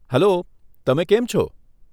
Hello, તમે કેમ છો?